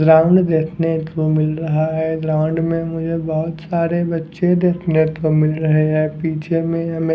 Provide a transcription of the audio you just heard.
ground देखने को मिल रहा है ग्राउंड में बहुत सारे बच्चे देखने को मिल रहे हैं पीछे में हमें --